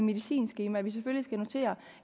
medicinskema at vi selvfølgelig skal notere